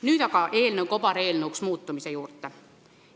Nüüd aga eelnõu kobareelnõuks muutumise juurde.